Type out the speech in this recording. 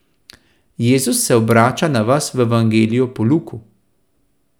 Jezus se obrača na vas v Evangeliju po Luku.